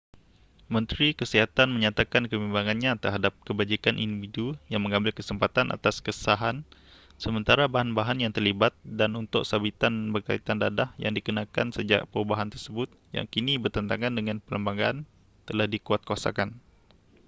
menteri kesihatan menyatakan kebimbangannya terhadap kebajikan individu yang mengambil kesempatan atas kesahan sementara bahan-bahan yang terlibat dan untuk sabitan berkaitan dadah yang dikenakan sejak perubahan tersebut yang kini bertentangan dengan perlembagaan telah dikuatkuasakan